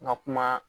N ka kuma